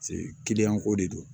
kiliyan ko de don